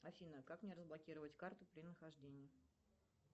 афина как мне разблокировать карту при нахождении